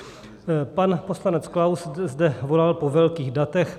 Pan poslanec Klaus zde volal po velkých datech.